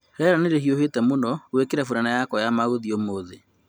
Rĩera nĩ rĩhiũhĩte mũno gwikira furana yakwa ya mauzi umuthi